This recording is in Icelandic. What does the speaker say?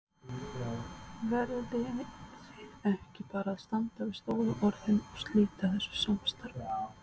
Lóa: Verðið þið ekki bara að standa við stóru orðin og slíta þessu samstarfi?